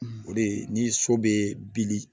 O de ye ni so bɛ bili